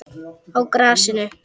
Á grasinu?